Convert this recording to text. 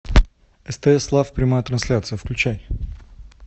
стс лав прямая трансляция включай